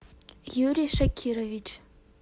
юрий шакирович